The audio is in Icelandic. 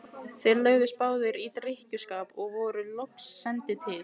Þeir lögðust báðir í drykkjuskap og voru loks sendir til